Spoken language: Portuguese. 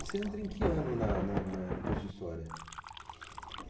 Você entrou em que ano na na na no curso de História?